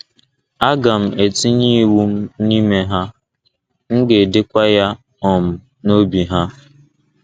Aga m etinye iwu m n’ime ha, m ga - edekwa ya um n’obi ha.